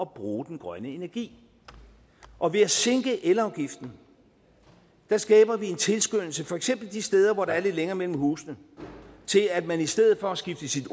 bruge den grønne energi og ved at sænke elafgiften skaber vi en tilskyndelse for eksempel de steder hvor der er lidt længere mellem husene til at man i stedet for at skifte sit